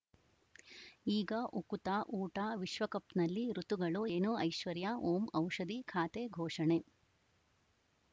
ಈಗ ಉಕುತ ಊಟ ವಿಶ್ವಕಪ್‌ನಲ್ಲಿ ಋತುಗಳು ಏನು ಐಶ್ವರ್ಯಾ ಓಂ ಔಷಧಿ ಖಾತೆ ಘೋಷಣೆ